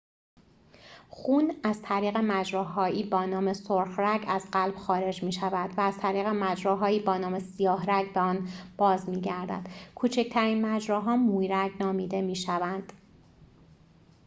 خون از طریق مجراهایی با نام سرخ‌رگ از قلب خارج می‌شود و از طریق مجراهایی با نام سیاه‌رگ به آن باز می‌گردد کوچکترین مجراها مویرگ نامیده می‌شوند